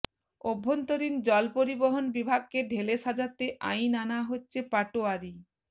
অভ্যন্তরীণ জল পরিবহণ বিভাগকে ঢেলে সাজাতে আইন আনা হচ্ছেঃ পাটোয়ারি